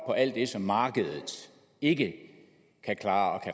på alt det som markedet ikke kan klare